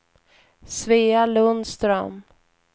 Svea Lundström